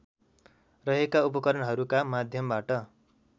रहेका उपकरणहरूका माध्यमबाट